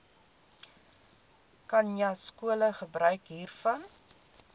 khanyaskole gebruik hiervan